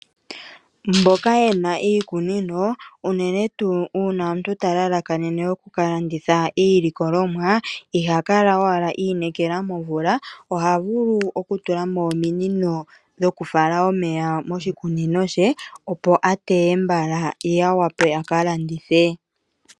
Mboka yena iikunino unene tuu uuna omuntu ta lalakanene okukalanditha iilikolwamo. Iha kala owala i inekela momvula ohavulu okutula mo ominino dhokufala mo omeya moshikunino she, opo a teye mbala ye a wape a kalandithe.